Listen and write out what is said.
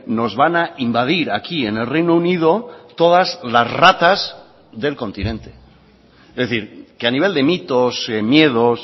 nos van a invadir aquí en el reino unido todas las ratas del continente es decir que a nivel de mitos miedos